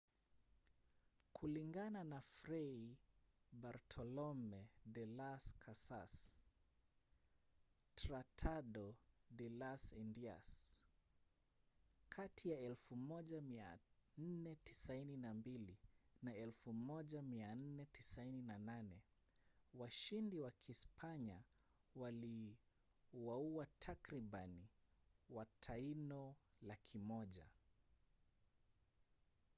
kulingana na fray bartolomé de las casas tratado de las indias kati ya 1492 na 1498 washindi wa kispanya waliwaua takribani wataino 100,000